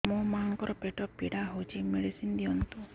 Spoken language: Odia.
ମୋ ମାଆଙ୍କର ପେଟ ପୀଡା ହଉଛି ମେଡିସିନ ଦିଅନ୍ତୁ